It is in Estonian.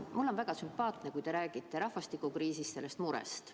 Mulle on väga sümpaatne, kui te räägite rahvastikukriisist, sellest murest.